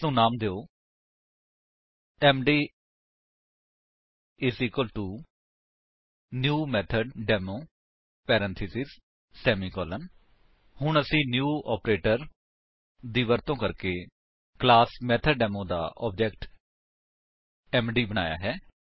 ਇਸਨੂੰ ਨਾਮ ਦਿਓ MD new method demo parenthesis semicolon ਹੁਣ ਅਸੀਂ ਨਿਊ ਆਪਰੇਟਰ ਦੀ ਵਰਤੋ ਕਰਕੇ ਕਲਾਸ ਮੈਥੋਡੇਮੋ ਦਾ ਆਬਜੇਕਟ ਐਮਡੀ ਬਣਾਇਆ ਹੈ